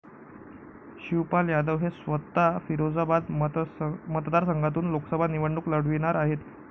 शिवपाल यादव हे स्वतः फिरोजाबाद मतदारसंघातून लोकसभा निवडणूक लढविणार आहेत.